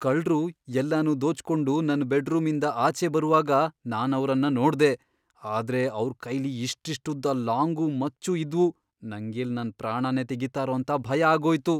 ಕಳ್ರು ಎಲ್ಲನೂ ದೋಚ್ಕೊಂಡು ನನ್ ಬೆಡ್ರೂಮಿಂದ ಆಚೆ ಬರುವಾಗ ನಾನವ್ರನ್ನ ನೋಡ್ದೆ, ಆದ್ರೆ ಅವ್ರ್ ಕೈಲಿ ಇಷ್ಟಿಷ್ಟುದ್ದ ಲಾಂಗು, ಮಚ್ಚು ಇದ್ವು, ನಂಗೆಲ್ಲ್ ನನ್ ಪ್ರಾಣನೇ ತೆಗೀತಾರೋ ಅಂತ ಭಯ ಆಗೋಯ್ತು.